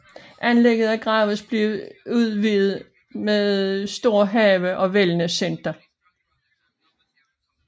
Anlægget er gradvist blevet udvidet med stor have og wellnesscenter